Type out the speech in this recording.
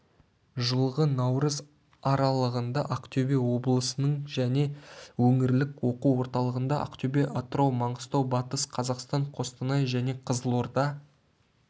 жылғы наурыз аралығында ақтөбе облысының және өңірлік оқу орталығында ақтөбе атырау маңғыстау батыс-қазақстан қостанай және қызылорда